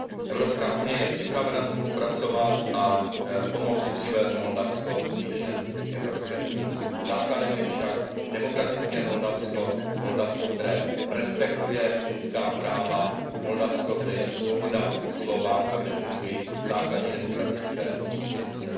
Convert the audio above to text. Evropská unie je připravena spolupracovat a pomoci přivést Moldavsko blíže k Evropské unii. Základem je však demokratické Moldavsko, Moldavsko, které respektuje lidská práva, Moldavsko, kde je svoboda slova a kde fungují základní demokratické instituce.